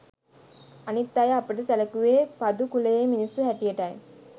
අනික් අය අපට සැලකුවේ පදු කුලයේ මිනිස්සු හැටියටයි